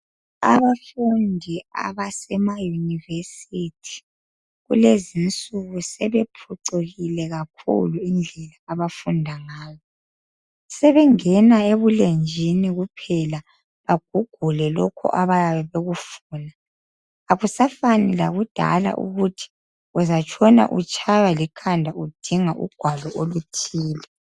Abafundi abasemayunisithi kulezinsuku sebephucukile kakhulu indlela abafunda ngazo. Sebengena ebulenjini kuphela bagugule lokhu abayabe bekufuna. Akusafani lakudala ukuthi uzatshona utshaywa likhanya udinga ugwalo oluthile.